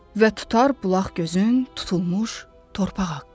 Və tutar bulaq gözün tutulmuş torpaq haqqı.